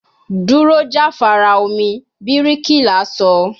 Duro jafara omi, birikila sọ